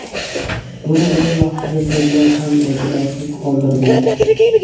Buni o‘z vaqtida tergov ham e’tiborsiz qoldirgan.